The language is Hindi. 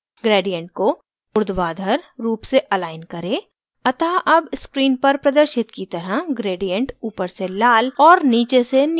gradient को ऊर्ध्वाधर रूप से अलाइन करें अतः अब screen पर प्रदर्शित की तरह gradient ऊपर से लाल और नीचे से नीला होना चाहिए